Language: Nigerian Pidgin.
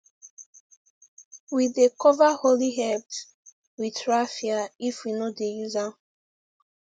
we dey cover holy herbs with raffia if we no dey use am